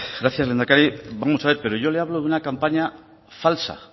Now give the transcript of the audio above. gracias lehendakari vamos a ver yo le hablo de una campaña falsa